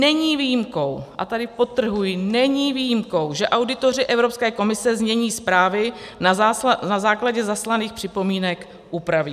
Není výjimkou - a tady podtrhuji - není výjimkou, že auditoři Evropské komise znění zprávy na základě zaslaných připomínek upraví.